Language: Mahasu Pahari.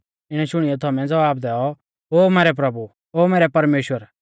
इणै शुणियौ थोमै ज़वाब दैऔ ओ मैरै प्रभु ओ मैरै परमेश्‍वर